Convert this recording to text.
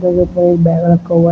ये कोई बैग रखा हुआ है।